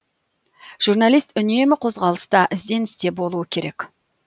жүрналист үнемі қозғалыста ізденісте болуы керек